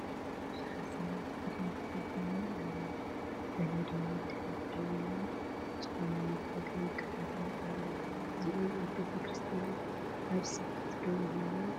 ብዙሓት ሰባት ብቕድሚት ከፍ ኢሎም ኣለው ገለ ድማ ብድሕሪት ደው ኢሎም ዝኾነ መርሀ ግብሪ ይከታተሉ ኣለው፡፡ እዚኦም ኣብ ቤተ ክርስትያን ኣብ ስብከት ዶ ይህልው?